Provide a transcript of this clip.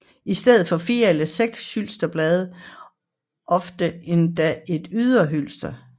I stedet findes 4 eller 6 hylsterblade og ofte endda et ydre hylster